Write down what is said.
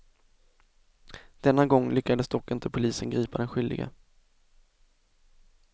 Denna gång lyckades dock inte polisen gripa den skyldige.